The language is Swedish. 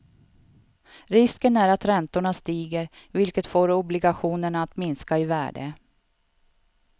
Risken är att räntorna stiger, vilket får obligationerna att minska i värde.